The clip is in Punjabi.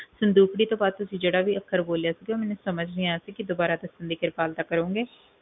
ਸੰਦੂਕੜੀ ਤੋਂ ਬਾਅਦ ਤੁਸੀਂ ਜਿਹੜਾ ਵੀ ਅਕਹਾਰ ਬੋਲਿਆ ਸੀ ਉਹ ਮੈਨੂੰ ਸੰਜਾਹ ਨਹੀਂ ਆਇਆ ਸੀ ਕਿ ਤੁਸੀਂ ਦੁਬਾਰਾ ਦੱਸਣ ਦੀ ਕਿਰਪਾਲਤਾ ਕਰੋਂਗੇ